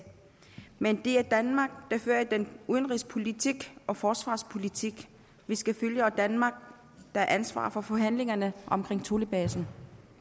men det er danmark der fører den udenrigspolitik og forsvarspolitik vi skal følge og danmark der har ansvar for forhandlingerne om thulebasen